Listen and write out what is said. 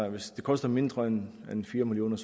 hvis det koster mindre end fire million